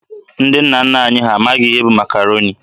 Ndị nna nna anyị ha amaghị ihe bụ Makaroni.